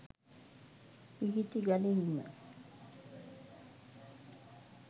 පිහිටි ගලෙහිම